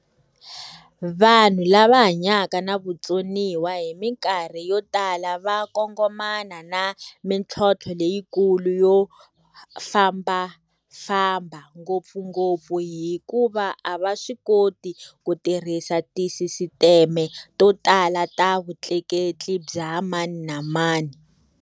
Vanhu lava hanyaka na vutsoniwa hi mikarhi yo tala va kongomana na mitlhontlho leyikulu yo fambafamba, ngopfungopfu hikuva a va swi koti ku tirhisa tisisiteme to tala ta vutleketli bya mani na mani.